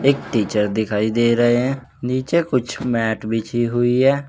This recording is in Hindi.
एक टीचर दिखाई दे रहे हैं नीचे कुछ मैट बिछी हुई है।